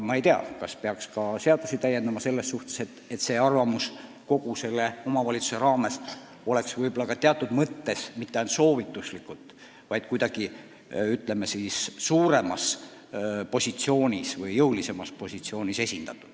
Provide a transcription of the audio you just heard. Ma ei tea, kas peaks ka seadusi täiendama, et kõigi territooriumiosade arvamus oleks mitte ainult soovituslikult, vaid kuidagi jõulisemalt esindatud.